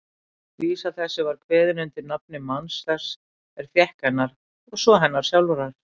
Vísa þessi var kveðin undir nafni manns þess er fékk hennar, og svo hennar sjálfrar